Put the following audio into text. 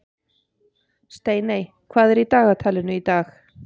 Steiney, hvað er í dagatalinu í dag?